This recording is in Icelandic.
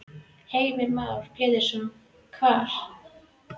Heimir Már Pétursson: Hvar?